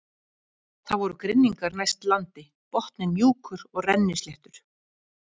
Það voru grynningar næst landi, botninn mjúkur og rennisléttur.